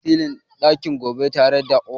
Za mu yi silin ɗin ɗaki gobe tare da ƙofa.